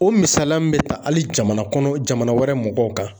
O misaliya min bɛ ta hali jamana kɔnɔ, jamana wɛrɛ mɔgɔw kan.